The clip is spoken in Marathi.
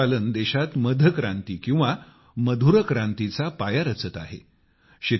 मधमाशी पालन देशात मध क्रांति किंवा मधुर क्रांतीचा पाया रचत आहे